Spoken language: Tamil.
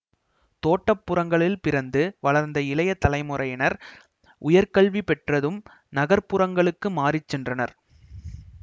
தோட்டப்புறங்களில் பிறந்து வளர்ந்த இளைய தலைமுறையினர் உயர்க்கல்வி பெற்றதும் நகர்ப்புறங்களுக்கு மாறி சென்றனர்